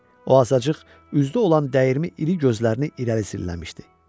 O azacıq üzdə olan dəyirmi, iri gözlərini irəli zilləmişdi.